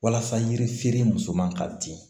Walasa yirifeere musoman ka di